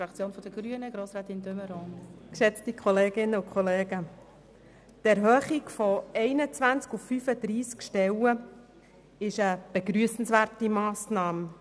Die Erhöhung von 21 auf 35 Stellen ist eine begrüssenswerte Massnahme.